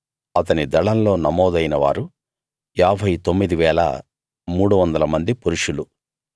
అతని దళంలో నమోదైన వారు 59 300 మంది పురుషులు